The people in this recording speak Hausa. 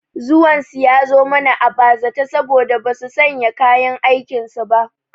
Zuwan su ya zo mana a bazata saboda basu sanya kayan aikin su ba